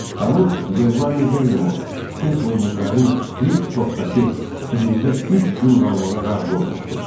Xanım Bellami Bellamor Kinsoviqlərin Kliff topdakı evində üç gün qalmağa razı olmuşdu.